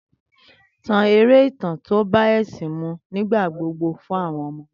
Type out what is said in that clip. Tan eré ìtàn tí ó bá ẹ̀ṣìn mu nígbà gbogbo fún àwọn ọmọ